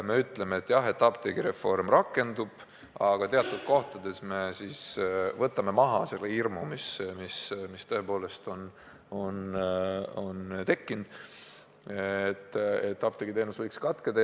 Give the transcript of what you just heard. Me ütleme, et jah, apteegireform rakendub, aga teatud kohtades me võtame maha tõepoolest tekkinud hirmu, et apteegiteenus võib katkeda.